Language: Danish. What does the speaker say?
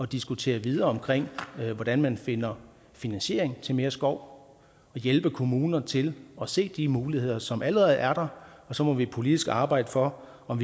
diskutere videre hvordan man finder finansiering til mere skov og hjælpe kommunerne til at se de muligheder som allerede er der og så må vi politisk arbejde for om